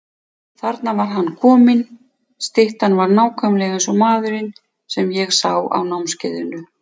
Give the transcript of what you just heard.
Þarna var hann kominn, styttan var nákvæmlega eins og maðurinn sem ég sá á námskeiðinu.